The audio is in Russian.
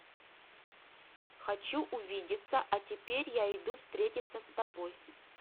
хочу увидеться а теперь я иду встретиться с тобой